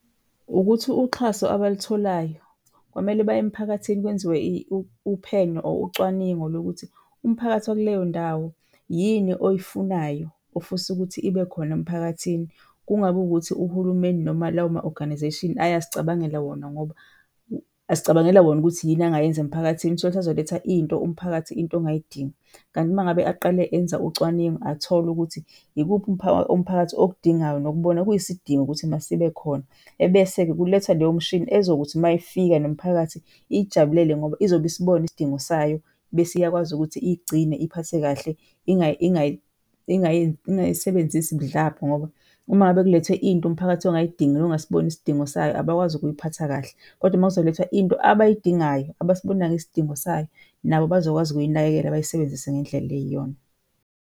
Ukuthi uxhaso abalitholayo kwamele baye emphakathini kwenziwe uphenyo or ucwaningo lokuthi umphakathi wakuleyo ndawo yini oyifunayo, ofisa ukuthi ibe khona emphakathini. Kungabi wukuthi uhulumeni noma lawo ma-organization ayazicabangela wona ngoba azicabangela wona ukuthi yini angayenza emphakathini. Uthole ukuthi azoletha into umphakathi into ongayidingi. Kanti uma ngabe aqale enza ucwaningo athole ukuthi ikuphi umphakathi okudingayo nokubona kuyisidingo ukuthi masibe khona ebese-ke kulethwa leyo mshini ezokuthi uma ifika nomphakathi iy'jabulele ngoba izobe isibona isidingo sayo bese iyakwazi ukuthi iyigcine, iyiphathe kahle, ingayisebenzisi budlabha. Ngoba uma ngabe kulethwe into umphakathi ongayidingi nongasiboni isidingo sayo abakwazi ukuyiphatha kahle kodwa makuzolethwa into abayidingayo, abasibonayo isidingo sayo, nabo bazokwazi ukuyinakekela bayisebenzise ngendlela eyiyona.